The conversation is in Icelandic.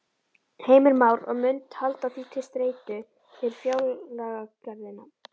Heimir Már: Og munt halda því til streitu við fjárlagagerðina?